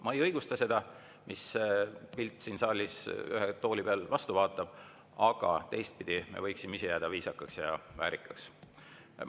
Ma ei õigusta seda, mis pilt siin saalis ühe tooli pealt vastu vaatab, aga teistpidi, me võiksime ise jääda viisakaks ja väärikaks.